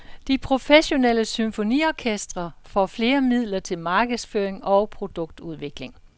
De professionelle symfoniorkestre får flere midler til markedsføring og produktudvikling.